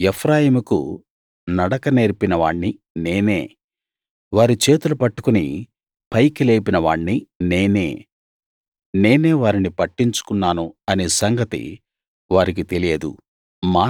ఎఫ్రాయిముకు నడక నేర్పిన వాణ్ణి నేనే వారి చేతులు పట్టుకుని పైకి లేపిన వాణ్ణి నేనే నేనే వారిని పట్టించుకున్నాను అనే సంగతి వారికి తెలియదు